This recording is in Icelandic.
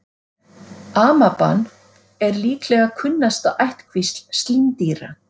Amaban er líklega kunnasta ættkvísl slímdýra.